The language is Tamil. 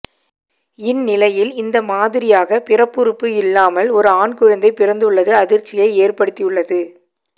இந்நிலையில் இந்த மாதிரியாக பிறப்புறுப்பு இல்லாமல் ஒரு ஆண் குழந்தை பிறந்துள்ளது அதிர்ச்சியை ஏற்படுத்தியுள்ளது